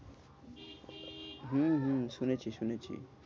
হম হম শুনেছি শুনেছি।